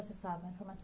Processavam a informação